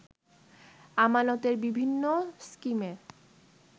আমানতের বিভিন্ন স্কিমে